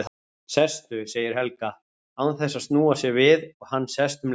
Sestu, segir Helga, án þess að snúa sér við og hann sest um leið.